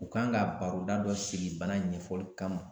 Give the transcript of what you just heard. U kan ga baroda dɔ sigi bana in ɲɛfɔli kama